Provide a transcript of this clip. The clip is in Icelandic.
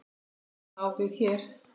Hið sama á við hér.